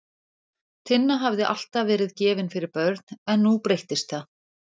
Tinna hafði alltaf verið gefin fyrir börn en nú breyttist það.